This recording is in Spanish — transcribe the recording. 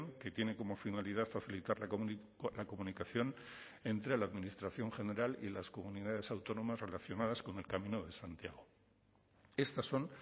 que tiene como finalidad facilitar la comunicación entre la administración general y las comunidades autónomas relacionadas con el camino de santiago estas son